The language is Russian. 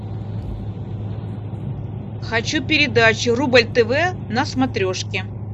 хочу передачу рубль тв на смотрешке